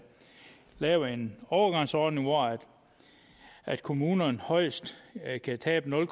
lavet en overgangsordning hvor kommunerne højst kan tabe nul